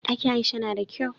Ɗakin aisha nada kyau